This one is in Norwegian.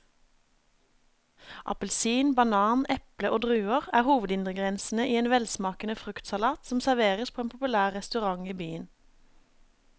Appelsin, banan, eple og druer er hovedingredienser i en velsmakende fruktsalat som serveres på en populær restaurant i byen.